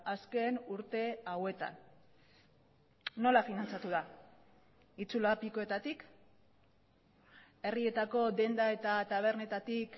azken urte hauetan nola finantzatu da itsulapikoetatik herrietako denda eta tabernetatik